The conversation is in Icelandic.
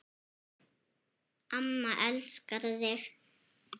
Amma elskar þig